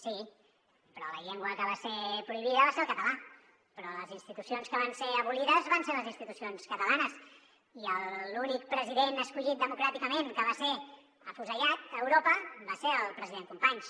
sí però la llengua que va ser prohibida va ser el català però les institucions que van ser abolides van ser les institucions catalanes i l’únic president escollit democràticament que va ser afusellat a europa va ser el president companys